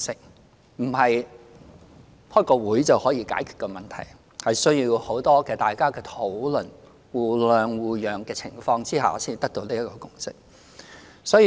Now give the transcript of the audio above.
這不是開一次會議便可以解決的問題，而是需要大家很多的討論，在互諒互讓的情況下才得到這個共識。